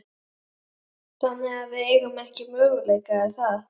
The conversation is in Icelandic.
Þannig að við eigum ekki möguleika, er það?